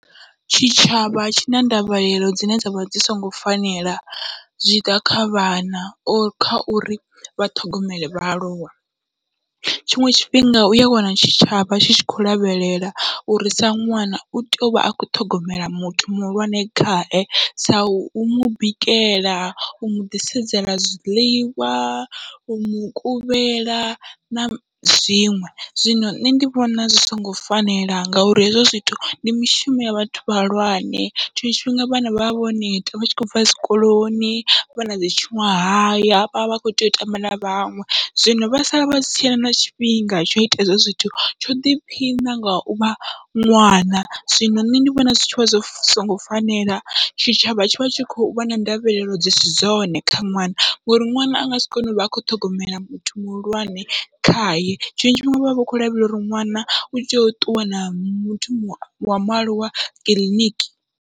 Tshitshavha tshina ndavhelelo dzine dzavha dzi songo fanela zwi tshiḓa kha vhana or kha uri vhaṱhogomele vhaaluwa tshiṅwe tshifhinga uya wana tshitshavha tshi tshi khou lavhelela uri sa ṅwana utea uvha a kho ṱhogomela muthu muhulwane khae, sau mubikela, u muḓisedzela zwiḽiwa, u mukuvhela na zwiṅwe, zwino nṋe ndi vhona zwi songo fanela ngauri hezwo zwithu ndi mishumo ya vhathu vhahulwane, tshiṅwe tshifhinga vhana vha vha vho neta vhatshi khou bva tshikoloni vha nadzi tshuṅwahaya havha vha kho tea u tamba na vhaṅwe. Zwino vha sala vhasi tshena na tshifhinga tsho ita hezwo zwithu tsho ḓiphina ngau vha ṅwana, zwino nṋe ndi vhona zwi tshivha zwo songo fanela tshitshavha tshivha tshi kho vhona ndavhelelo dzisi zwone kha ṅwana, ngori ṅwana angasi kone uvha a kho ṱhogomela muthu muhulwane khaye, tshiṅwe tshifhinga vhavha vhakho lavhelela uri ṅwana u tea u ṱuwa na muthu wa mualuwa kiḽiniki.